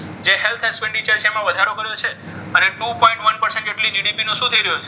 જે health એમાં વધારો કર્યો છે. અને બે પોઈન્ટ એક ટકા જેટલી GDP નો શું થઈ રહ્યો છે?